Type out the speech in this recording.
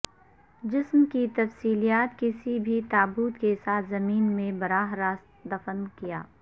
جسم کی تفصیلات کسی بھی تابوت کے ساتھ زمین میں براہ راست دفن کیا